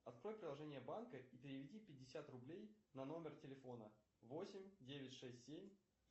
открой приложение банка и переведи пятьдесят рублей на номер телефона восемь девять шесть семь